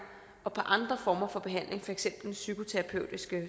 og på andre former for behandling for eksempel psykoterapeutisk